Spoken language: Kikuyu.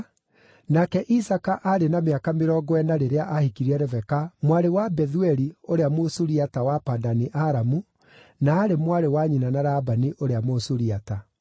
nake Isaaka aarĩ na mĩaka mĩrongo ĩna rĩrĩa aahikirie Rebeka, mwarĩ wa Bethueli ũrĩa Mũsuriata wa Padani-Aramu, na aarĩ mwarĩ wa nyina na Labani ũrĩa Mũsuriata.